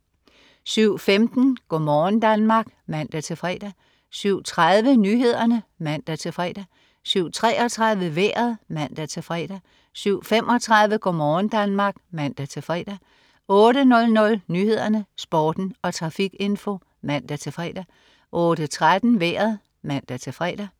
07.15 Go' morgen Danmark (man-fre) 07.30 Nyhederne (man-fre) 07.33 Vejret (man-fre) 07.35 Go' morgen Danmark (man-fre) 08.00 Nyhederne, Sporten og trafikinfo (man-fre) 08.13 Vejret (man-fre)